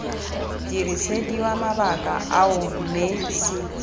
dirisediwa mabaka ao mme c